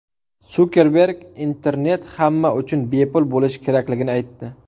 Sukerberg internet hamma uchun bepul bo‘lishi kerakligini aytdi.